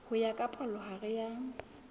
ho ya ka palohare ya